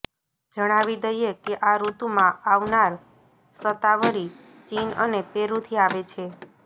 જણાવી દઈએ કે આ ઋતુમાં આવનાર શતાવરી ચીન અને પેરુથી આવે છે